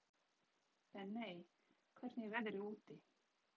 Benney, hvernig er veðrið úti?